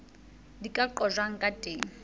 di ka qojwang ka teng